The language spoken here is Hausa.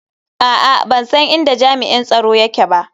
A'a, ban san inda jami'in tsaro yake ba